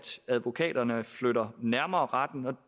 advokaterne flytter nærmere retten man